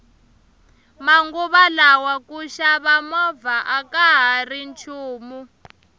manguva lawa ku xava movha akahari nchumu